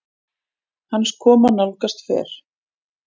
Hans koma nálgast fer